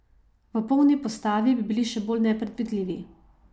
V polni postavi bi bili še bolj nepredvidljivi.